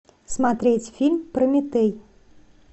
смотреть фильм прометей